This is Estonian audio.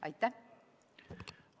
Aitäh!